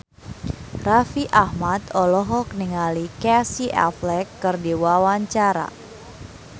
Raffi Ahmad olohok ningali Casey Affleck keur diwawancara